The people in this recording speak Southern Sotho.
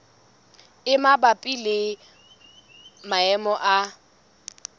e mabapi le maemo a